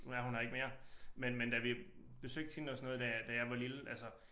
Nu er hun her ikke mere men men da vi besøgte hende og sådan noget da da jeg var lille altså